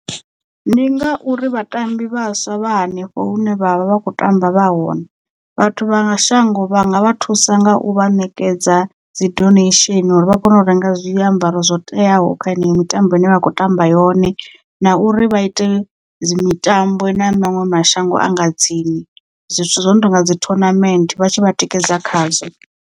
Ndi nga uri vhatambi vhaswa vha hanefho hune vha vha vha kho tamba vha hone vhathu vha shango vhanga vha thusa nga u vha ṋekedza dzi donation uri vha kone u renga zwiambaro zwo teaho kha heneyo mitambo i ne vha khou tamba yone na uri vha ite dzi mitambo na maṅwe mashango anga tsini zwithu zwo no tonga dzi tournament vhatshi vha tikedza khazwo.